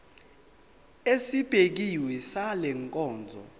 esibekiwe sale nkonzo